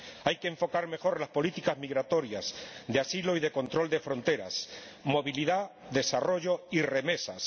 Hay que enfocar mejor las políticas migratorias de asilo y de control de fronteras, movilidad, desarrollo y remesas.